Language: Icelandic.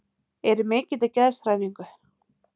Er í mikilli geðshræringu.